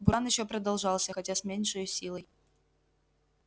буран ещё продолжался хотя с меньшею силою